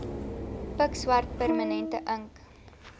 pikswart permanente ink